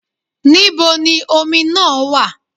Níbo ni omi náà wà?